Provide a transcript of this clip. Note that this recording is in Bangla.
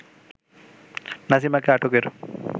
নাসিমাকে আটকের